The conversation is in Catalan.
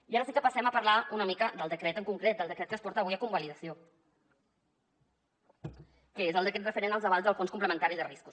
i ara sí que passem a parlar una mica del decret en concret del decret que es porta avui a convalidació que és el decret referent als avals del fons complementari de riscos